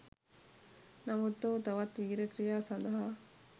නමුත් ඔහු තවත් වීරක්‍රියා සඳහා